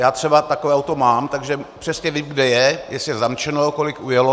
Já třeba takové auto mám, takže přesně vím, kde je, jestli je zamčeno, kolik ujelo.